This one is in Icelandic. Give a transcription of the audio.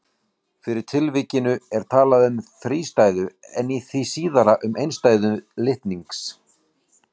Í fyrra tilvikinu er talað um þrístæðu en í því síðara um einstæðu litnings.